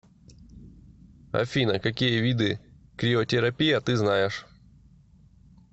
афина какие виды криотерапия ты знаешь